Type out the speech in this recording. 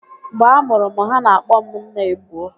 Mgbe a mụrụ m, ha na-akpọ m "Nnaebuo"